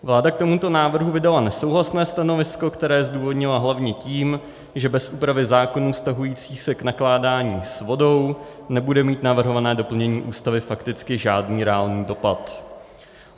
Vláda k tomuto návrhu vydala nesouhlasné stanovisko, které zdůvodnila hlavně tím, že bez úpravy zákonů vztahujících se k nakládání s vodou nebude mít navrhované doplnění Ústavy fakticky žádný reálný dopad.